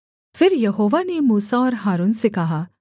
फिर यहोवा ने मूसा और हारून से कहा